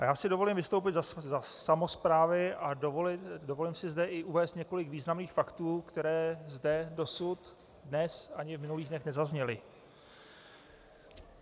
A já si dovolím vystoupit za samosprávy a dovolím si zde i uvést několik významných faktů, které zde dosud dnes ani v minulých dnech nezazněly.